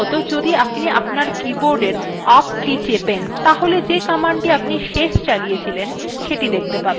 প্রথমতঃ যদি আপনি আপনার কীবোর্ডের up key টেপেন তাহলে যে command আপনি শেষ চালিয়েছিলেন সেটি দেখতে পাবেন